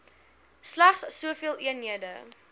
slegs soveel eenhede